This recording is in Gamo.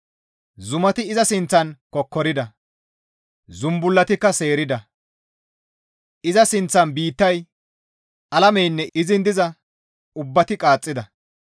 Zumati iza sinththan kokkorida; zumbullatikka seerida. Iza sinththan biittay, alameynne izin diza ubbati qaaxxida.